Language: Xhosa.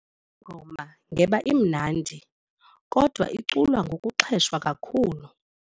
Le ngoma ngeba imnandi kodwa iculwa ngokuxheshwa kakhulu.